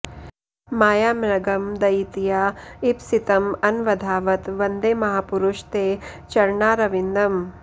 मायामृगं दयितया इप्सितम् अन्वधावत् वन्दे महापुरुष ते चरणारविन्दम्